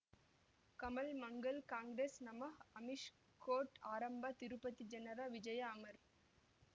ಕಮಲ್ ಮಂಗಳ್ ಕಾಂಗ್ರೆಸ್ ನಮಃ ಅಮಿಷ್ ಕೋರ್ಟ್ ಆರಂಭ ತಿರುಪತಿ ಜನರ ವಿಜಯ ಅಮರ್